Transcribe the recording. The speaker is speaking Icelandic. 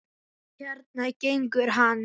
Og hérna gengur hann.